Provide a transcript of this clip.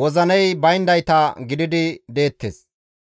wozinay bayndayta gididi deettes.